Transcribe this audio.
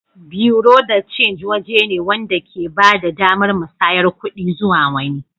Buerea de change waje ne wanda ke ba da damar musayar kuɗi zuwa wani.